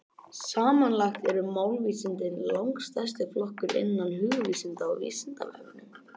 Samanlagt eru málvísindin langstærsti flokkurinn innan hugvísinda á Vísindavefnum.